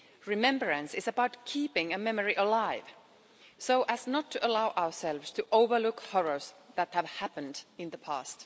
Remembrance is about keeping a memory alive so as not to allow ourselves to overlook horrors that have happened in the past.